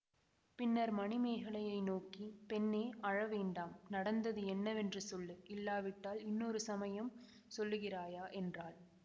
பின்னர் மணிமேகலையை நோக்கி பெண்ணே அழ வேண்டாம் நடந்தது என்னவென்று சொல்லு இல்லாவிட்டால் இன்னொரு சமயம் சொல்லுகிறாயா என்றாள்